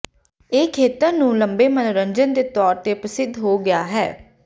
ਇਹ ਖੇਤਰ ਨੂੰ ਲੰਬੇ ਮਨੋਰੰਜਨ ਦੇ ਤੌਰ ਤੇ ਪ੍ਰਸਿੱਧ ਹੋ ਗਿਆ ਹੈ